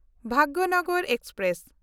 Bhagyanagar express